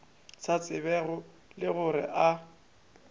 sa tsebego le gore a